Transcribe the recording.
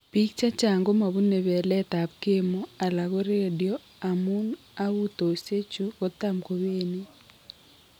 Biik chechang' komebuune beleet ab chemo alako radio amun agutosiek ichu kotam kobenign